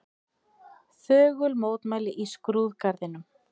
Þögul mótmæli í skrúðgarðinum